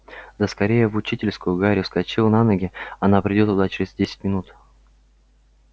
да скорее в учительскую гарри вскочил на ноги она придёт туда через десять минут